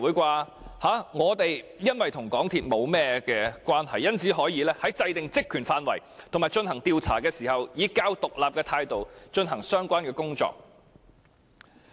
由於本會與港鐵公司沒有甚麼關係，所以可以在制訂職權範圍和進行調查時，以較獨立的態度進行相關工作。